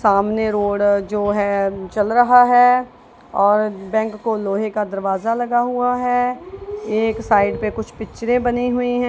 सामने रोड जो है चल रहा है और बैंक को लोहे का दरवाजा लगा हुआ है एक साइड में कुछ पिक्चरें बनी हुई है।